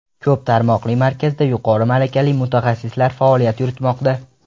Ko‘p tarmoqli markazda yuqori malakali mutaxassislar faoliyat yuritmoqda.